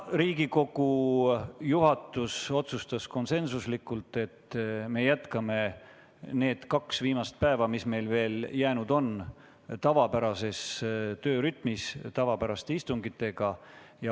Riigikogu juhatus otsustas konsensuslikult, et me jätkame neil kahel viimasel päeval, mis meil veel jäänud on, tavapärases töörütmis ja tavapäraste istungitega.